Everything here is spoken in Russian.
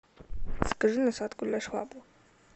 закажи насадку для швабры